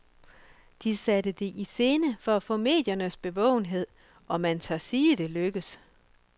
De satte det i scene for at få mediernes bevågenhed, og man tør sige, det lykkedes.